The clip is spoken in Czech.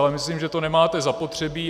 Ale myslím, že to nemáte zapotřebí.